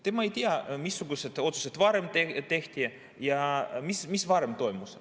Tema ei tea, missugused otsused varem tehti ja mis varem toimus.